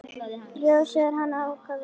Já, segir hann ákafur.